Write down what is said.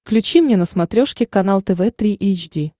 включи мне на смотрешке канал тв три эйч ди